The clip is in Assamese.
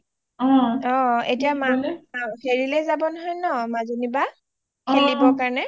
হেৰিলে যাব নহয় ন মাজনী বা খেলিবলে কাৰণে